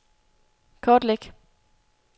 kortlæg